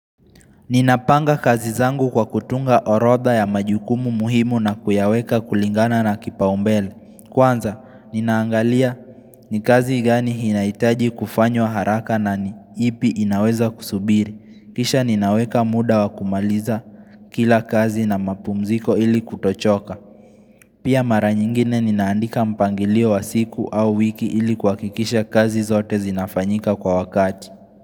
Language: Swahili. Ninapanga kazi zangu kwa kutunga orodha ya majukumu muhimu na kuyaweka kulingana na kipaumbele. Kwanza, ninaangalia ni kazi gani inahitaji kufanywa haraka na ni ipi inaweza kusubiri. Kisha ninaweka muda wa kumaliza kila kazi na mapumziko ili kutochoka. Pia mara nyingine ninaandika mpangilio wa siku au wiki ili kuhakikisha kazi zote zinafanyika kwa wakati.